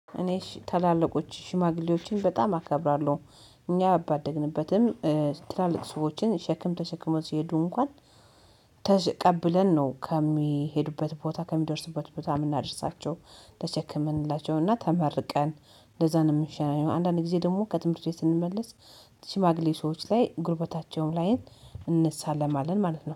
እኔ ታላላቆች ሽማግሌዎችን በጣም አከብራለሁ። እኛ ባደግንበትም ትላልቅ ሰዎችን ሸክም ተሸክመው ሲሄዱ እንኳን ተቀብለን ነው ከሚሄዱበት ቦታ ከሚደርስበት ቦታ የምናደርሳቸው ተቸክመንላቸውና ተመርቀን ለዛ ነው የምንሸኘው። አንዳንድ ጊዜ ደግሞ ከትምህርት ቤት ስንመለስ ሽማግሌ ሰዎች ላይ ጉልበታቸውን ላይ እንሳለማለን ማለት ነው